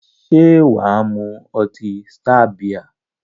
Se waa mu oti star bia?